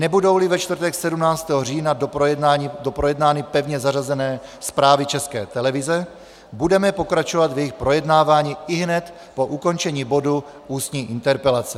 Nebudou-li ve čtvrtek 17. října doprojednány pevně zařazené zprávy České televize, budeme pokračovat v jejich projednávání ihned po ukončení bodu Ústní interpelace.